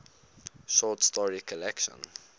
short story collection